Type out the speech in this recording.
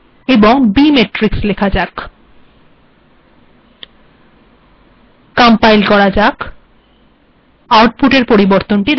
এবার এখানে bmatrix লেখা যাক